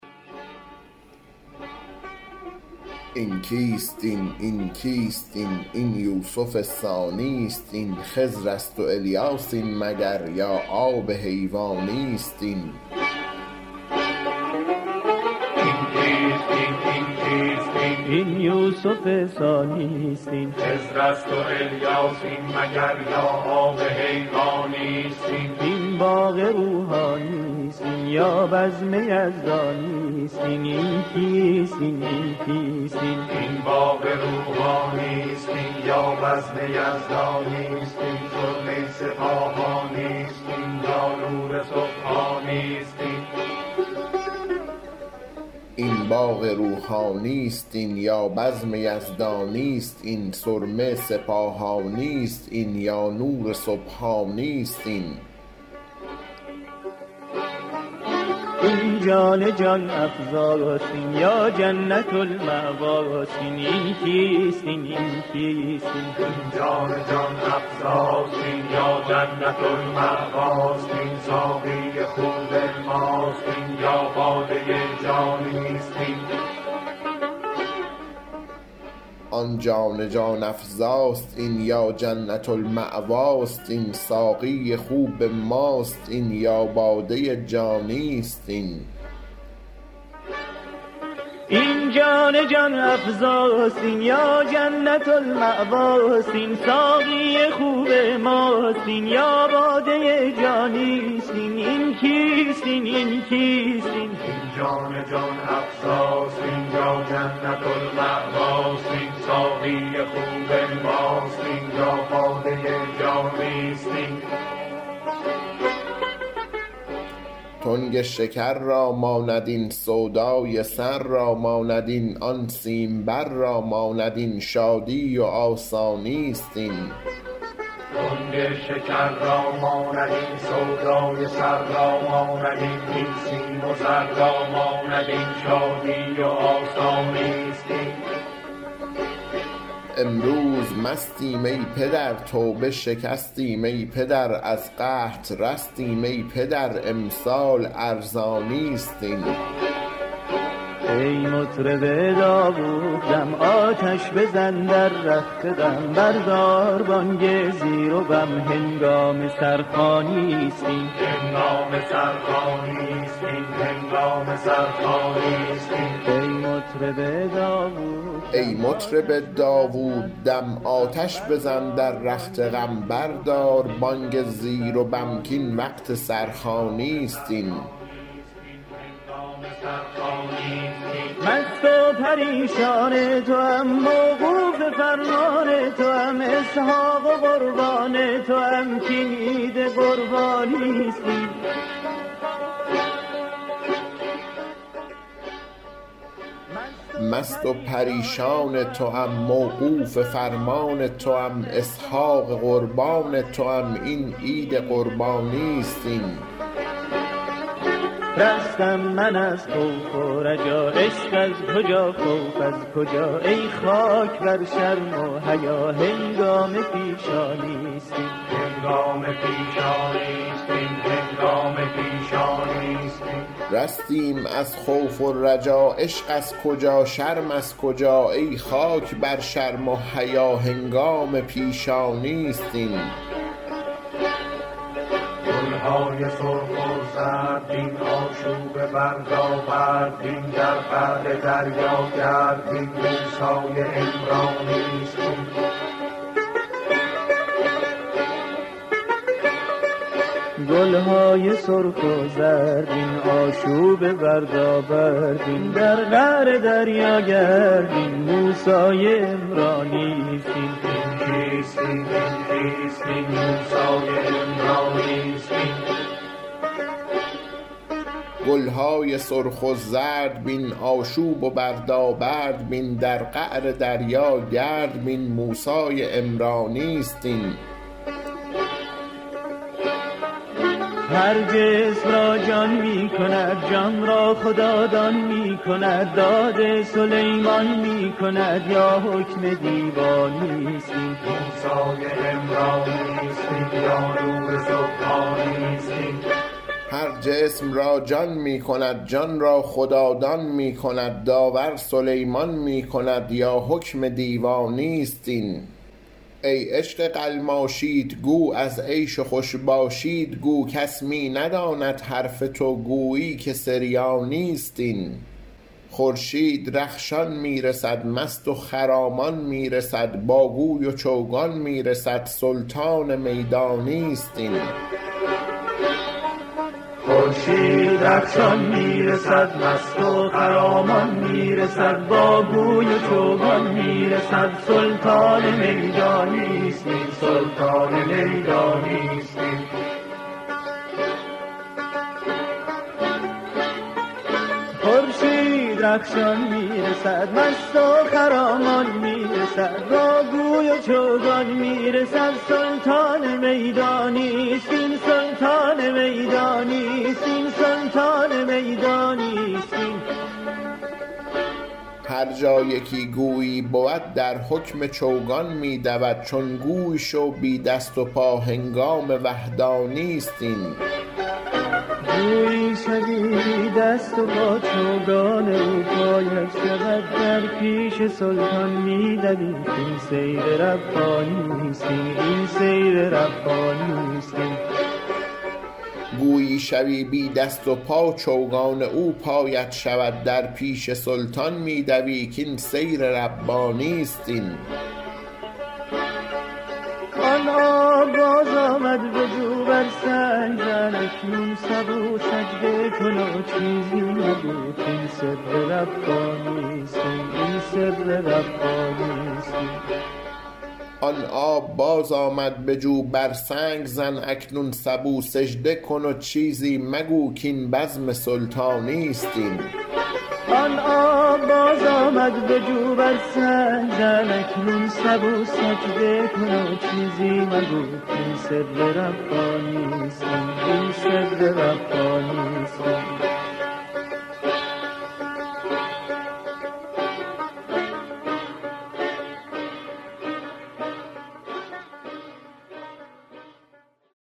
این کیست این این کیست این این یوسف ثانی است این خضر است و الیاس این مگر یا آب حیوانی است این این باغ روحانی است این یا بزم یزدانی است این سرمه سپاهانی است این یا نور سبحانی است این آن جان جان افزاست این یا جنت المأواست این ساقی خوب ماست این یا باده جانی است این تنگ شکر را ماند این سودای سر را ماند این آن سیمبر را ماند این شادی و آسانی است این امروز مستیم ای پدر توبه شکستیم ای پدر از قحط رستیم ای پدر امسال ارزانی است این ای مطرب داووددم آتش بزن در رخت غم بردار بانگ زیر و بم کاین وقت سرخوانی است این مست و پریشان توام موقوف فرمان توام اسحاق قربان توام این عید قربانی است این رستیم از خوف و رجا عشق از کجا شرم از کجا ای خاک بر شرم و حیا هنگام پیشانی است این گل های سرخ و زرد بین آشوب و بردابرد بین در قعر دریا گرد بین موسی عمرانی است این هر جسم را جان می کند جان را خدادان می کند داور سلیمان می کند یا حکم دیوانی است این ای عشق قلماشیت گو از عیش و خوش باشیت گو کس می نداند حرف تو گویی که سریانی است این خورشید رخشان می رسد مست و خرامان می رسد با گوی و چوگان می رسد سلطان میدانی است این هر جا یکی گویی بود در حکم چوگان می دود چون گوی شو بی دست و پا هنگام وحدانی است این گویی شوی بی دست و پا چوگان او پایت شود در پیش سلطان می دوی کاین سیر ربانی است این آن آب بازآمد به جو بر سنگ زن اکنون سبو سجده کن و چیزی مگو کاین بزم سلطانی است این